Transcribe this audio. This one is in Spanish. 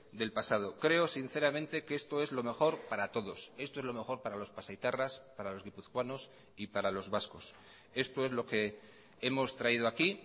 del pasado creo sinceramente que esto es lo mejor para todos esto es lo mejor para los pasaitarras para los guipuzcoanos y para los vascos esto es lo que hemos traído aquí